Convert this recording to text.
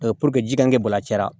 puruke ji ka kɛ bɔlɔla cayara